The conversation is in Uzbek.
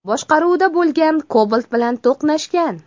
boshqaruvida bo‘lgan Cobalt bilan to‘qnashgan.